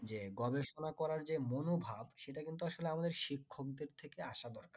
যে গবেষনা যে মনোভাব সেটা কিন্তু আসলে আমাদের শিক্ষক দের থেকে আশা দরকার